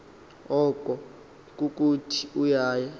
oko kukuthi uya